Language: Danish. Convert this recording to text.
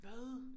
Hvad